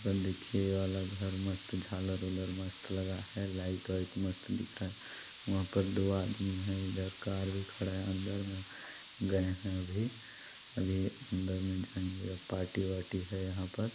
देखिए ये वाला घर मस्त झालर उलर मस्त लगा है लाईट वाईट मस्त दिख रहा है वहाँ पर दो आदमी है इधर कार भी खड़ा है अंदर मे गए है अभी अभी अंदर मे जाएंगे पार्टी वार्टी है यहाँ पर--